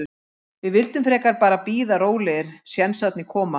Við vildum frekar bara bíða rólegir, sénsarnir koma.